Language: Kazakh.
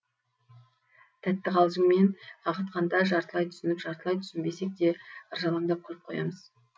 тәтті қалжыңмен қағытқанда жартылай түсініп жартылай түсінбесек те ыржалаңдап күліп қоямыз